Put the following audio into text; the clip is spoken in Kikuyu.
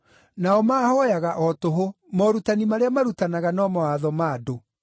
Nao maahooyaga o tũhũ; morutani marĩa marutanaga no mawatho ma andũ.’